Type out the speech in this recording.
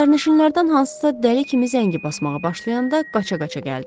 Sərnişinlərdən hansısa dəli kimi zəngi basmağa başlayanda qaça-qaça gəldi.